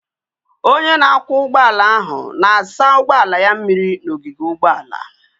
Onye na-akwọ ụgbọala ahụ na-asa ụgbọala ya mmiri n'ogige ụgbọala.